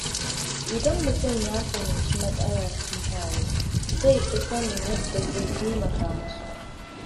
Idan mutum ya fahimci matsalar mutane, zai fi sanin yadda zai taimaka musu.